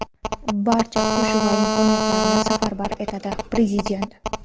barcha kuch va imkoniyatlarini safarbar etadi – Prezident.